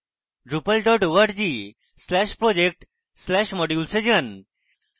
drupal org/project/modules এ যান